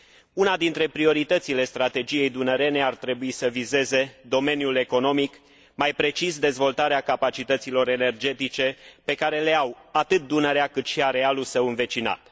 Una dintre prioritățile strategiei dunărene ar trebui să vizeze domeniul economic, mai precis dezvoltarea capacităților energetice pe care le au atât Dunărea, cât și arealul său învecinat.